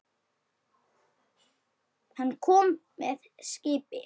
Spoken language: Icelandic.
Hann kom með skipi.